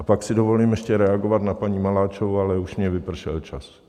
A pak si dovolím ještě reagovat na paní Maláčovou, ale už mi vypršel čas.